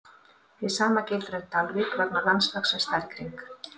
Hið sama gildir um Dalvík vegna landslagsins þar í kring.